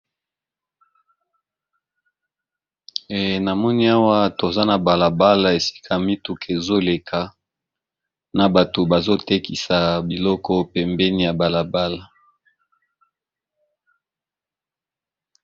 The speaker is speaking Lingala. Namoni awa toza na balabala, esika mituka ezo leka na batu bazo tekisa biloko awa na balabala